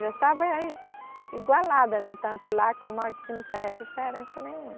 Já estava igualada, né, tanto lá como aqui, não fazia diferença nenhuma.